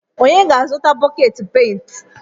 Onye ga-azụta bọket pent?